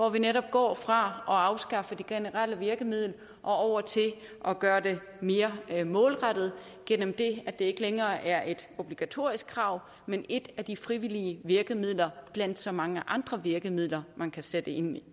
at vi netop går fra at afskaffe det generelle virkemiddel og over til at gøre det mere målrettet gennem det at det ikke længere er et obligatorisk krav men et af de frivillige virkemidler blandt så mange andre virkemidler man kan sætte ind